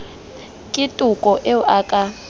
ke toko eo a ka